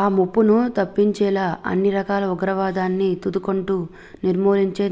ఆ ముప్పును తప్పించేలా అన్ని రకాల ఉగ్రవాదాన్ని తుదకంటా నిర్మూలించే